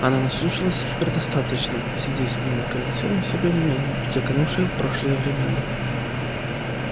она наслушалась их предостаточно сидя с ним на крыльце у себя в имении в те канувшие в прошлое времена